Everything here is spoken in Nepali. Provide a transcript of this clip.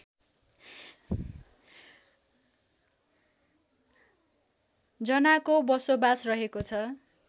जनाको बसोबास रहेको छ